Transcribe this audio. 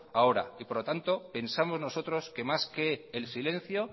ahora y por lo tanto pensamos nosotros que más que el silencio